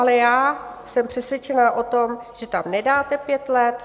Ale já jsem přesvědčená o tom, že tam nedáte pět let.